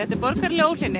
er borgaraleg óhlýðni